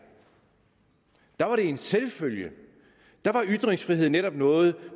der var det en selvfølge der var ytringsfrihed netop noget